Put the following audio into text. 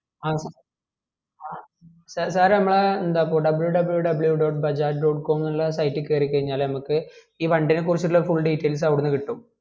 ആ sir sir നമ്മളെ എന്താകുവ wwwdotbajajdotcom എന്നുള്ള site കേറി കൈഞ്ഞാൽ ഞമ്മക് ഈ വണ്ടിനെ കുറിച്ചുള്ള full details അവിടുന്ന്‌ കിട്ടും